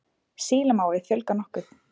Sílamávi fjölgar nokkuð.